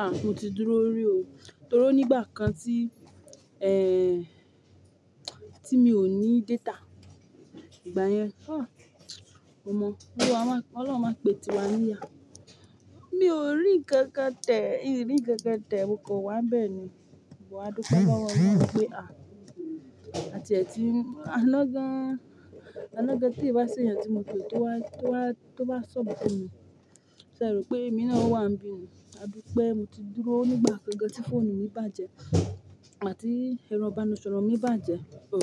À, mo ti dúró rí o, torí o nígbà kan tí, ẹ, tí mi ò ní data, ìgbà yẹn, ah, o mọ, Ọlọ́run máa pé ti wa níyà. Mi ò rí nkankan tẹ̀, in nkankan tẹ̀, mo kan wá n bẹ́ẹ̀ ni, mo wá dúpe lowo olorun pé à, àti e tì n, àná gán, àná gá tí ì bá se ẹ̀yàn tí mo pe tó wá, tó wá, tó wa sub fùn mi, ṣé ẹ rò pé èmi náà wà n bi ni? Àdupé mo ti dúró nígbà kan gan tí fóònù mi bàjẹ́ igbati ẹ̀rọ ìbánisọ̀rọ̀ mi bàjẹ́, o.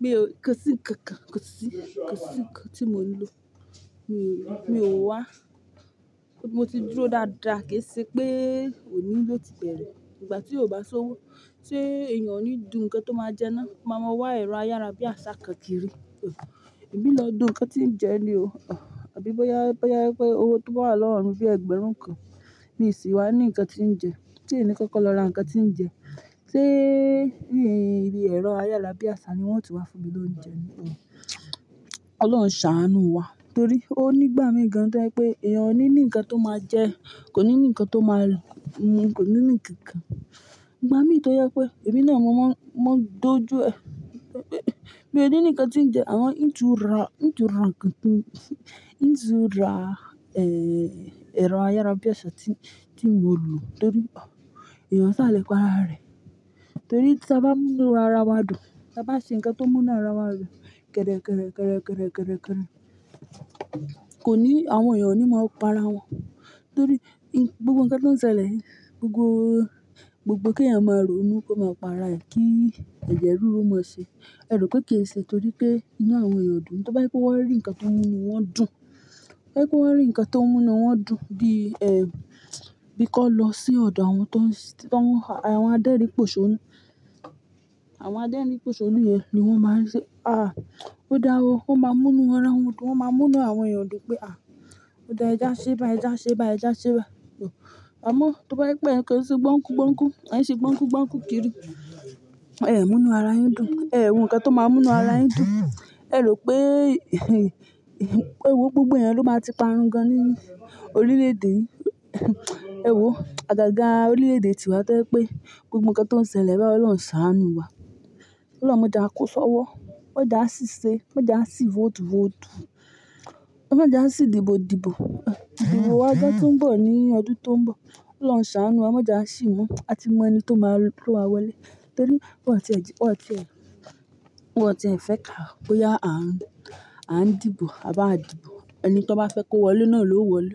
Mi ò, kosi ǹkan kan, kosi, kosi ǹkan tí mò ń lò, mi ò wá. Mo ti dúró dáadáa kí èsè pé òní ló ti bẹ̀rẹ̀. Ìgbà tí ó bá ṣówó, ṣé èèyàn ò ní dù ǹkan tó máa jẹná? Ò ma mọ wá ẹ̀rọ ayárabíàṣá kan kiri? O, èmi lọ dù ǹkan tí ń jẹ ni o, o. Àbí bóyá, bóyá pé owó tó baà wa lọ́wo mi bí ẹgbẹ̀rún kan, mi sì wá ní ǹkan tí ń jẹ, se ìn ni kọ́kọ́ lọ ra ǹkan tí ń jẹ. Ṣé ẹ̀rọ ayárabíàṣá ni wọ́n ti wá fún mi lóúnjẹ ni o? Ọlọ́run ṣàánú wa, torí ó nígbà mìín gan to yẹ́ pé èèyàn ò ní ní ǹkan tó máa jẹ, kò ní ní ǹkan tó máa mu, kò ní ní ǹkan kan. Ìgbà mí tọ́ yẹ pé èmi náà mo máa ń dojú ẹ, pé mi ò ní ní ǹkan tí ń jẹ àwọn, ń ju ra, ń ju ra ǹkan tí, ń tu ra, ẹ, ẹ̀rọ ayárabíàṣá tí, tí mò ń lò torí, o, èèyàn sá lẹ́pa ara rẹ̀. Torí ta bá ń múra ara wa dùn, tí a bá ṣe ǹkan tó múnú ara wa dùn kẹ̀rẹ̀, kẹ̀rẹ̀, kẹ̀rẹ̀, kẹ̀rẹ̀, kẹ̀rẹ̀, kò ní, àwọn èèyàn ò ní máa para wọn. Torí gbogbo ǹkan tó ń ṣẹlẹ̀, gbogbo, gbogbo kí ẹ̀yàn máa rò ó ní kó máa para ẹ̀ kí ẹ̀jẹ̀ ríru mọ́ ṣe. Ẹ rò pé kì í n ṣe torí pé inu àwọn èèyàn dùn, to ba ye pe wọ́n rí ǹkan tó múnu wọ́n dùn, to ba ye pe wọ́n rí ǹkan tó múnu wọ́n dùn bí, ẹ, bí kọ́ lọ sí ọ̀dọ̀ àwọn tó ń, tí àwọn adẹ́rínì pòṣónú. Àwọn adẹ́rínì pòṣónú yẹn ni wọ́n máa ń ṣe, à, ó dáwọ́, wọ́n máa ń múnu ara wọn dùn, wọ́n máa ń múnu àwọn èèyàn dùn pé à, ó dá ẹ já ṣẹ́ ba ẹ já ṣẹ́ ba ẹ já ṣẹ́ ba o. Àmọ́ to ba ye pe ẹ́ kan se gbọ́nkú, gbọ́nkú, má ń ṣe gbọ́nkú, gbọ́nkú kiri, ẹ múnu ara yín dùn, ẹ wo ǹkan tó máa múnu ara yín dùn. Ẹ rò pé, ì, ì, pé e wó gbogbo ẹyan ló máa ti parun gan ní orílẹ̀-èdè yìí. Ẹ wò, àgàgà orílẹ̀-èdè tiwa to yẹ́ pé gbogbo ǹkan tó ń ṣẹlẹ̀ báyi Ọlọ́run ṣàánú wa. Ọlọ́run máa jà á ko ṣọ́wọ́, máa jà á ṣì ṣe, máa jà á ṣì vote, vote. E máa jà á ṣì dìbò, dìbò, o. Ìbò wá gan ti ń bọ̀ ní ọdún tó ń bọ̀. Ọlọ́run ṣàánú wa, máa dà á ṣì mú àti maa ẹni tó máa wọlé. Torí bó ti ẹ, bó ti ẹ, bó ti ẹ fẹ́ ká, bóyá à ń dìbò, à bá ń dìbò, ẹni tí wọ́n bá fẹ́ kó wọlé náà ló wọlé.